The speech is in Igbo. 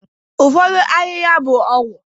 ụfọdụ ahịhịa bụ ọgwụ